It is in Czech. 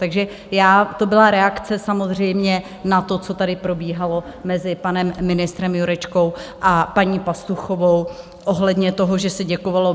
Takže to byla reakce samozřejmě na to, co tady probíhalo mezi panem ministrem Jurečkou a paní Pastuchovou ohledně toho, že se děkovalo.